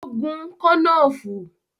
Ó gún “kànnàánfùrù”.